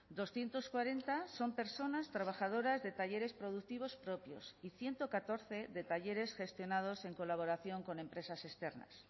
doscientos cuarenta son personas trabajadoras de talleres productivos propios y ciento catorce de talleres gestionados en colaboración con empresas externas